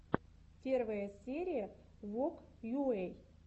первая серия вог йуэй